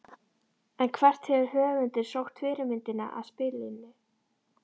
En hvert hefur höfundur sótt fyrirmyndina að spilinu?